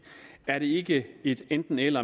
er det ikke et enten eller